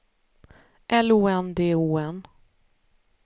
L O N D O N